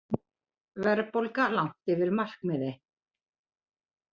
Verðbólga langt yfir markmiði